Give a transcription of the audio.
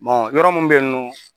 yɔrɔ mun be yen nɔ